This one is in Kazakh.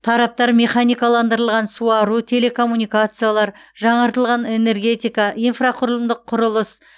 тараптар механикаландырылған суару телекоммуникациялар жаңартылатын энергетика инфрақұрылымдық құрылыс